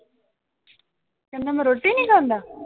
ਕਹਿੰਦਾ ਮੈ ਰੋਟੀ ਨੀ ਖਾਂਦਾ?